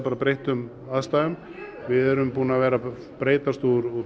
breyttum aðstæðum við erum búin að vera að breytast úr